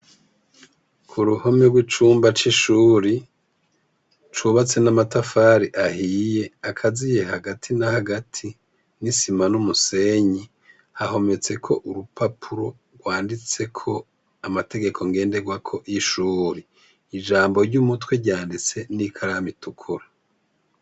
Ku ruhome rw'icumba c'ishuri, cubatse n'amatafari ahiye, akaziye hagati na hagati n'isima n'umusenyi, hahometseko urupapuro rwanditseko amategeko nganderwako y'ishuri. Ijambo ry'umutwe ryanditse n'ikaramu itukura.